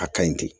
A kaɲi ten